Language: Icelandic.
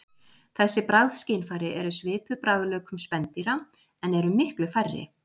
Þessi bragðskynfæri eru svipuð bragðlaukum spendýra en eru miklu færri.